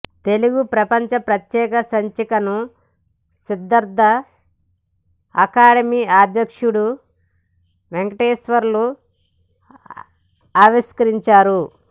తెలుగు ప్రపంచం ప్రత్యేక సంచికను సిద్దార్థ అకాడమీ అధ్యక్షుడు వెంకటేశ్వర్లు ఆవిష్కరించారు